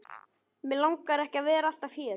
Mig langar ekki að vera alltaf hér.